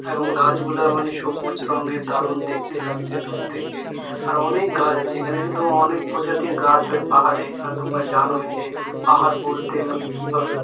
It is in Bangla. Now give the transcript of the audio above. এখন গাছগুলোর মানে সবুজ রঙের দারুন দেখতে লাগছে দূর থেকে আরোও অনেক গাছ আছে এখানে কিন্তু অনেক প্রজাতির গাছ হয় পাহাড়ে এখানে আর তোমরা জানোই যে পাহাড় বলতে মানে কিভাবে--